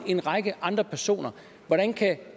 en række andre personer hvordan kan